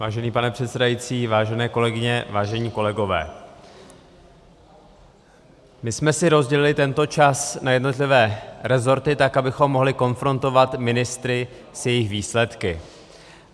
Vážený pane předsedající, vážené kolegyně, vážení kolegové, my jsme si rozdělili tento čas na jednotlivé resorty tak, abychom mohli konfrontovat ministry s jejich výsledky.